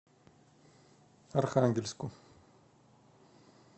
архангельску